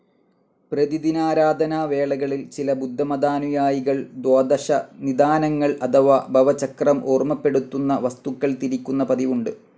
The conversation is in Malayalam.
പ്രതിദിനാരാധനാവേളകളിൽ‍, ചില ബുദ്ധമതാനുയായികൾ ദ്വാദശനിദാനങ്ങൾ അഥവാ ഭവചക്രം ഓർമ്മപ്പെടുത്തുന്ന വസ്തുക്കൾ തിരിക്കുന്ന പതിവുണ്ട്.